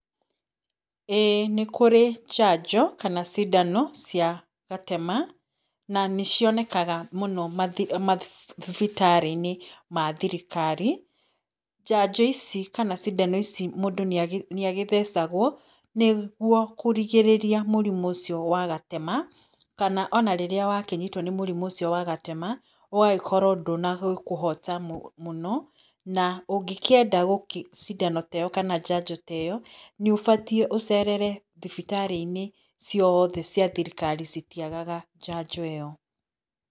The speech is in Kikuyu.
Ĩĩ nĩ kũrĩ njanjo kana cindano cia gatema, na nĩcionekaga mũno mathibitarĩ-inĩ mathirikari. Njanjo ici, kana cindano ici mũndũ nĩ agĩthecagwo, nĩguo kũrigĩrĩria mũrimũ ũcio wa gatema, kana ona rĩrĩa wakĩnyitwo nĩ mũrimũ ũcio wa gatema, ũgagĩkorwo ndũnagĩkũhoota mũno, na ũngĩkĩenda cindano te yo kana njanjo te yo, nĩ ũbatiĩ ũcerere thibitarĩ-inĩ ciothe cia thirikari citiagaga njanjo ĩyo.